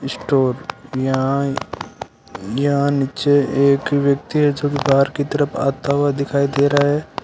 Store यहां यहां नीचे एक व्यक्ति की तरफ आता हुआ दिखाई दे रहा है।